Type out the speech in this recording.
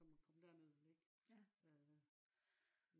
som man kan komme derned og ligge øh